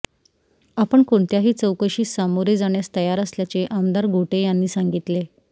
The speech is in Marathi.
आपण कोणत्याही चौकशीस सामोरे जाण्यास तयार असल्याचे आमदार गोटे यांनी सांगितले